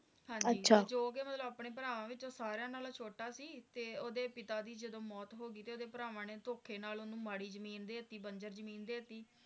ਹਾਂਜੀ ਜੋ ਓਹਦੇ ਨਾਲ ਆਪਣੇ ਭਰਾਵਾਂ ਨਾਲ ਸਾਰਿਆਂ ਨਾਲੋਂ ਛੋਟਾ ਸੀ ਤੇ ਓਹਦੇ ਪਿਤਾ ਦੀ ਜਦੋ ਮੌਤ ਹੋ ਗਈ ਤਾ ਓਹਦੇ ਭਰਾਵਾਂ ਨੇ ਧੋਖੇ ਨਾਲ ਓਹਨੂੰ ਮਾੜੀ ਜਮੀਨ ਦਿਤੀ ਬੰਜਰ ਜਮੀਨ ਦਿਤੀ